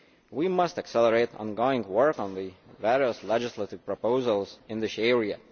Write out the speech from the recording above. We must accelerate ongoing work on the various legislative proposals in this area.